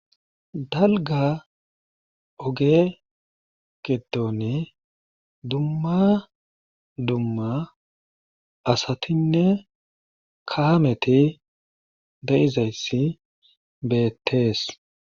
Dalga oge gidone dumma dumma asatinne kaameti da7izayssi beettees